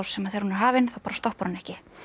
þegar hún er hafin þá bara stoppar hún ekki